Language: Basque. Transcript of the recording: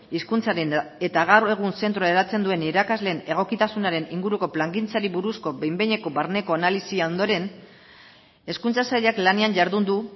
hizkuntzaren eta gaur egun zentroa hedatzen duen irakasleen egokitasunaren inguruko plangintzari buruzko behin behineko barneko analisia ondoren hezkuntza sailak lanean jardun du